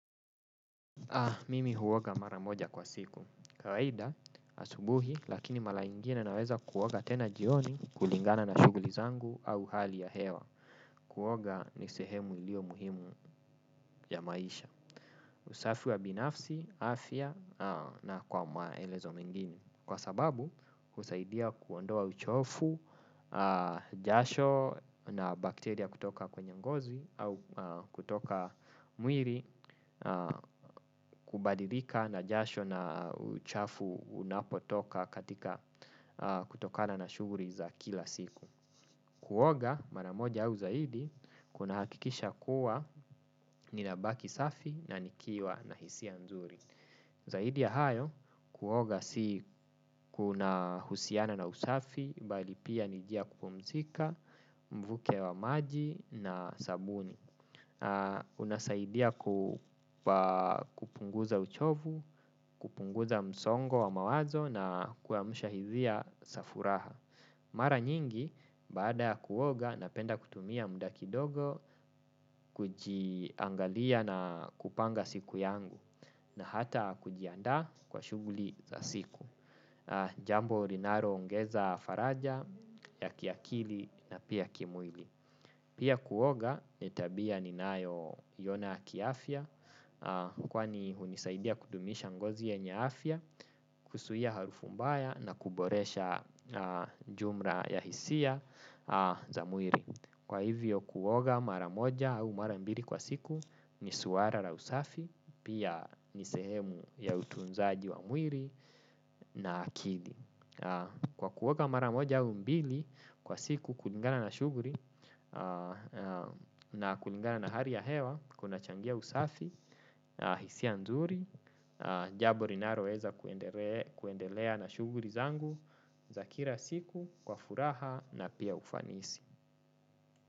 Mimi huoga mara moja kwa siku. Kawaida, asubuhi, lakini mara ingine naweza kuoga tena jioni kulingana na shuguli zangu au hali ya hewa. Kuoga ni sehemu ilio muhimu ya maisha. Usafi wa binafsi, afya na kwa maelezo mengine. Kwa sababu, husaidia kuondoa uchofu, jasho na bakteria kutoka kwenye ngozi au kutoka mwili kubadilika na jasho na uchafu unapotoka katika kutokana na shuguli za kila siku. Kuoga mara moja au zaidi kunahakikisha kuwa ninabaki safi na nikiwa na hisia nzuri. Zaidi ya hayo kuoga si kuna husiana na usafi bali pia ni njia ya kupumzika mvuke wa maji na sabuni. Unasaidia kupunguza uchovu, kupunguza msongo wa mawazo na kuyaamusha hizia za furaha. Mara nyingi baada kuoga napenda kutumia muda kidogo kujiangalia na kupanga siku yangu na hata kujiandaa kwa shuguli za siku. Jambo linalo ongeza faraja ya kiakili na pia kimwili. Pia kuoga ni tabia ni nayo iona kiafya kwani hunisaidia kudumisha ngozi yenye afya, kusuhia harufu mbaya na kuboresha jumra ya hisia za mwiri. Kwa hivyo kuoga mara moja au mara mbili kwa siku ni suara la usafi, pia ni sehemu ya utunzaji wa mwiri na akili. Kwa kuoga mara moja au mbili kwa siku kulingana na shuguri na kulingana na hari ya hewa kunachangia usafi, hisia nzuri, jabo linaloweza kuendelea na shuguri zangu, za kira siku, kwa furaha na pia ufanisi.